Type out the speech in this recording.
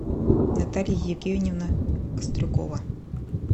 наталья евгеньевна кострюкова